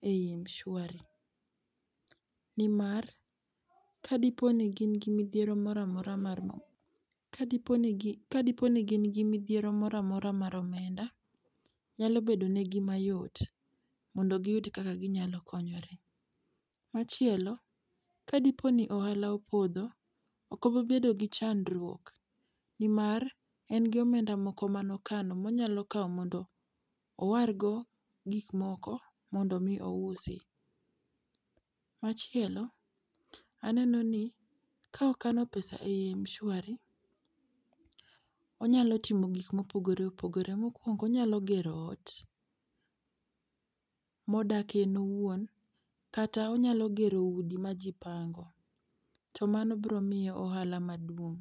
e i mshwari nimar ka dipo ni in gi midhiero moro amora mar omenda, nyalo bedo ne gi ma yot mondo gi yud kaka gi nyalo konyore. Machielo, ka dipo ni ohala opodho , ok obi bedo gi chandruok ni mar en gi omenda moko ma ne okano ma onyalo kawo mondo owargo gik moko mondo mi ousi. Machielo, aneno ni ka okano pesa e mshwari, onyalo timo go gik ma opogore opogore. Mokuongo onyalo gero ot ma odakie en owuon, kata onyalo gero udi ma ji pango to mano biro miye ohala maduong'.